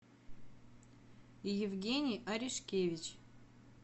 евгений арешкевич